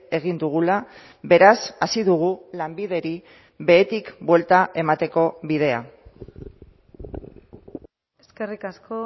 egin dugula beraz hasi dugu lanbideri behetik buelta emateko bidea eskerrik asko